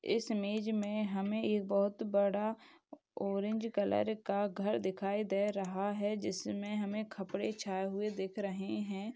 इस इमेज मे हमे एक बहुत बड़ा ऑरेंज कलर का घर दिखाई दे रहा है। जिसमे हमे कपड़े छाए हुए दिख रहे है।